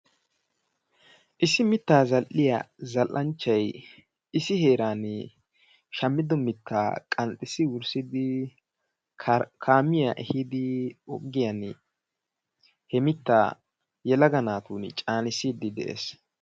Issi mittaa zal''iya zal''anchchay issi heeran shammido mittaa qanxxissi wurssidi kaamiyaa ehiidi ogiyan he mittaa yelaga naatun caanissiidde de'ees.